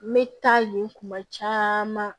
N bɛ taa yen kuma caman